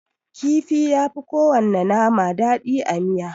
Kifi yafi kowana nama daɗi a miya.